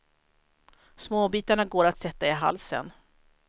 Småbitarna går att sätta i halsen.